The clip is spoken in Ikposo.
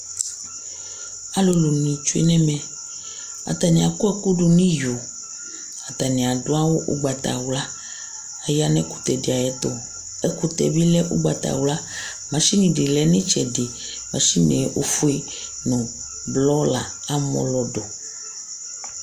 alulu ni tsué nɛ ɛmɛ atani akɔku du ni iyo atani adu awu ugbata wlă aya nu ɛkutɛ di ayɛtu ɛkutɛ bi lɛ ugbata wlă machini di lɛ ni itsɛdi machine ofué nu blɔ la amɔlɔdu